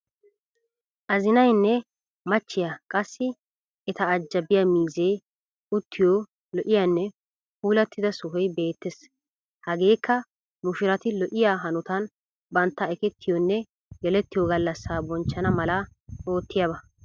Azinaynne machchiya qassi eta ajjabiya miizee uttiyo lo'iyaanne puulattida sohoy beettes. Hageekka mushurati lo'iya hanotan bantta ekettiyonne gelettiyo gallassaa bonchchana mala oottiyaaba.